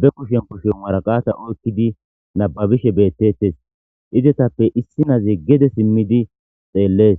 be kushen koshe maraqata oykkidi nababishe beettettes idetappe issi naze gede simmidi xeellees